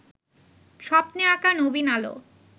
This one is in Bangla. স্বপ্নে আঁকা নবীন আলো